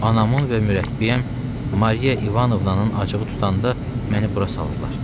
Anamın və mürəbbiyəm Mariya İvanovnanın acığı tutanda məni bura salırdılar.